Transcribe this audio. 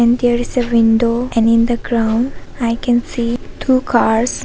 And there is a window and in the ground I can see two cars.